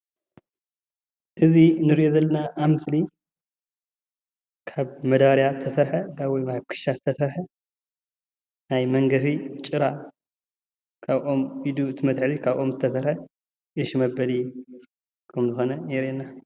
እዚ እንሪኦ ዘለና ኣብ ምስሊ ካብ መዳባርያ ዝተሰርሐ ወይ ካብ ክሻ ዝተሰርሐ ናይ መንገፊ ጭራ ካብ ኦም ኢዱ መትሐዚ ዝተሰርሐ ኡሽ መበሊ ከም ዝኾነ የሪአና።